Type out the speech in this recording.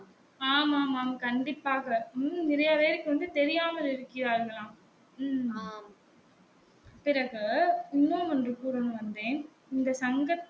ஆம் ஆம் ஆமாம் கண்டிப்பாக இன்னும் நிறைய பேருக்கு வந்து தெரியாமல் இருக்கிறார்கலாம் பிறகு இன்னும் ஒன்று கூறனும்னு வந்தேன் இந்த சங்கத்தில்